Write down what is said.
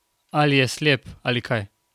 Ali je slep, ali kaj?